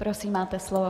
Prosím, máte slovo.